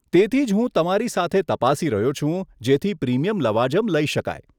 તેથી જ હું તમારી સાથે તપાસી રહ્યો છું જેથી પ્રીમિયમ લવાજમ લઇ શકાય.